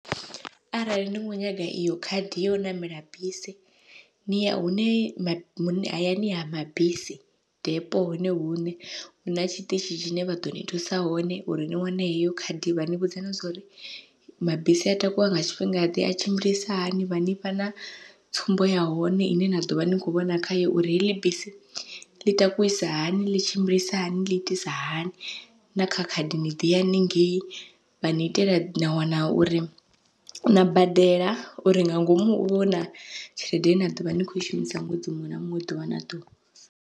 Arali ni kho nyaga iyo khadi yau ṋamela bisi ni ya hune hayani ha mabisi depo hone huṋe huna tshiṱitshi tshine vha ḓo ni thusa hone uri ni wane heyo khadi, vha ni vhudza na zwa uri mabisi a takuwa nga tshifhinga ḓe a tshimbilisa hani vha nifha na tsumbo ya hone ine na ḓovha ni kho vhona khayo uri heḽi bisi ḽi takusa hani ḽi tshimbilisa hani ḽi itisa hani, na kha khadi ni ḓiya haningei vha ni itela na wana uri na badela uri nga ngomu huvhe huna tshelede ine na ḓovha ni kho i shumisa ṅwedzi muṅwe na muṅwe ḓuvha na ḓuvha.